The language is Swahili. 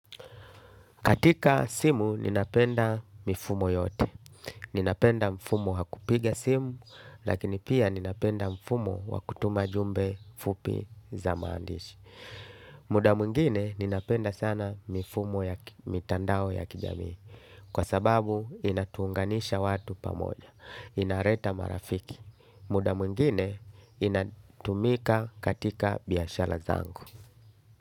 Katika simu, ninapenda mifumo yote. Ninapenda mfumo wa kupiga simu, lakini pia ninapenda mfumo wa kutuma jumbe fupi za maandishi. Muda mwngine, ninapenda sana mifumo ya mitandao ya kijamii. Kwa sababu, inatuunganisha watu pamoja. Inaleta marafiki, muda mwingine, inatumika katika biashara zangu.